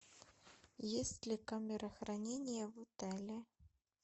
есть ли камера хранения в отеле